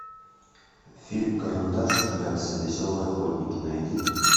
фильм карандаш и клякса веселые охотники найди